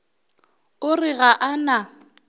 o re ga a na